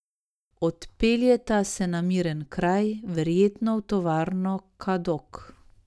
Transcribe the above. Odpeljeta se na miren kraj, verjetno v tovarno Kadok.